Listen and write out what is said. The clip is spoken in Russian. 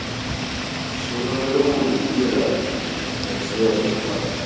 что за ролевухи тихо не раскрывай всех карт